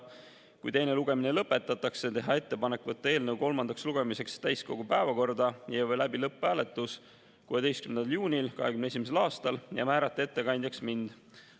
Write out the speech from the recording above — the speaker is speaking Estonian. Kui teine lugemine lõpetatakse, on ettepanek võtta eelnõu kolmandaks lugemiseks täiskogu päevakorda ja viia läbi lõpphääletus 16. juunil 2021. aastal ning määrata ettekandjaks mind.